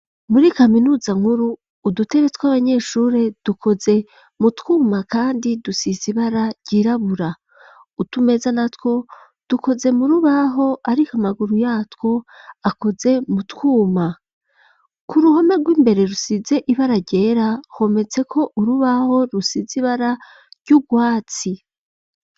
Muri kaminuza nkuru, udutebe tw'abanyeshure dukoze mu twuma kandi dusize ibara ryirabura, utumeza natwo dukoze mu rubaho ariko amaguru yatwo akoze mutwuma, k'uruhome rw'imbere rusize ibara ryera, hometseko urubaho rusize ibara ry'urwatsi.